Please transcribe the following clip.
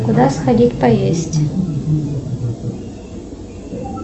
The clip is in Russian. куда сходить поесть